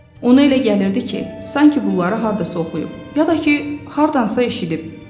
Ona elə gəlirdi ki, sanki bunları hardasa oxuyub, ya da ki hardansa eşidib.